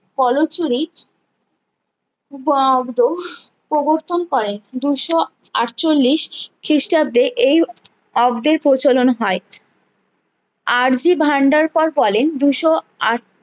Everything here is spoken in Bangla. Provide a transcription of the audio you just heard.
পলচুরি প্রবর্তন করেন দুশো আটচল্লিশ খিষ্টাব্দে এই অব্দের প্রচলন হয়ে আর্জি ভান্ডার পোর বলেন দুশো আট